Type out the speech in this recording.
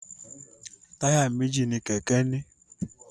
Táyà méjì ni kẹ̀kẹ́ ń ní.